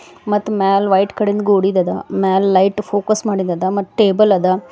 ಮತ್ ಮ್ಯಾಲ್ white colour ಇಂದ್ ಗೋಡಿಂದದ ಮ್ಯಾಲ್ ಲೈಟ್ ಫೋಕಸ್ ಮಾಡಿಂದದ ಮತ್ ಟೇಬಲ್ ಅದ.